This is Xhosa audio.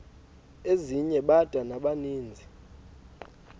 ezinye bada nabaninizo